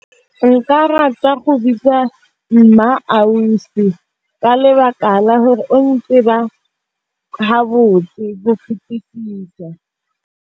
Nka rata go bitsa MmaAusi, ka lebaka la hore o ntseba ha botse ho fetesisa.